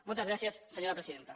moltes gràcies senyora presidenta